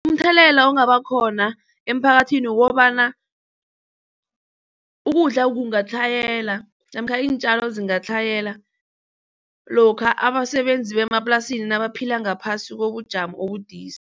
Umthelela ongaba khona emphakathini kukobana ukudla kungatlhayela namkha iintjalo zingatlhayela lokha abasebenzi bemaplasini nabaphila ngaphasi kobujamo obudisi.